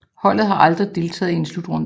Holdet har aldrig deltaget i en slutrunde